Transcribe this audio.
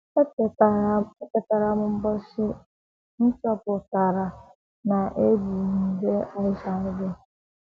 Echetara m ụbọchị m chọpụtara na ebu m nje HIV.